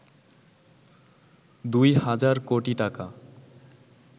২ হাজার কোটি টাকা